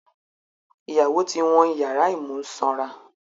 Ìyàwó ti wọ́n ìyàrá ìmúsanra